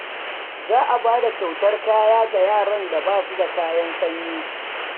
Za a ba da kyautar kaya ga yaran da ba su da kayan sanyi.